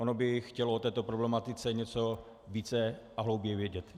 Ono by chtělo o této problematice něco více a hlouběji vědět.